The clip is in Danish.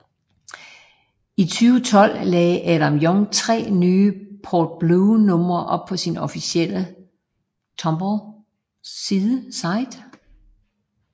I 2012 lagde Adam Young 3 nye Port Blue numre op på sin officielle Tumblr side